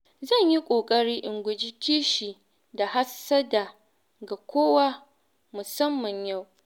Zan yi ƙoƙari in guji kishi da hassada ga kowa musamman yau.